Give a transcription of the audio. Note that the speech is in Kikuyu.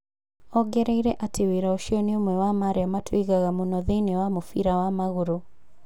Ongereire atĩ wĩra ũcio nĩ ũmwe wa marĩa matũigaga mũno thĩinĩ ya mũbira wa magũrũ.